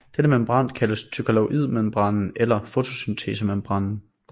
Denne membran kaldes thylakoidemembranen eller fotosyntesemembranen